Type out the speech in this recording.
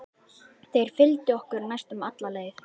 Þeir fylgdu okkur næstum alla leið.